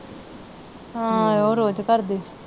ਹਾਂ ਰੋਜ ਘਰ ਦੇ।